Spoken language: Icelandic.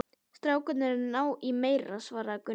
Strákarnir eru að ná í meira, svaraði Gunni.